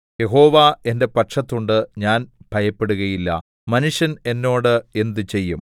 യഹോവ എന്റെ പക്ഷത്തുണ്ട് ഞാൻ ഭയപ്പെടുകയില്ല മനുഷ്യൻ എന്നോട് എന്ത് ചെയ്യും